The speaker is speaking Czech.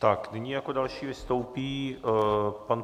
Tak nyní jako další vystoupí pan...